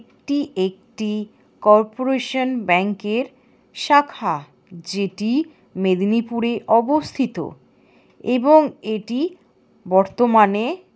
এটি একটি কর্পোরেশন ব্যাঙ্কের শাখা। যেটি মেদিনীপুরে অবস্থিত এবং এটি বর্তমানে ।